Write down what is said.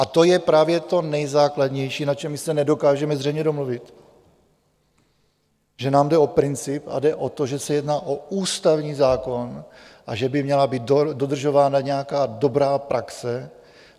A to je právě to nejzákladnější, na čem my se nedokážeme zřejmě domluvit, že nám jde o princip a jde o to, že se jedná o ústavní zákon a že by měla být dodržována nějaká dobrá praxe.